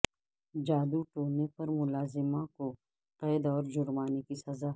جادو ٹونے پر ملازمہ کو قید اور جرمانے کی سزا